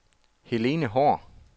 Helen Haahr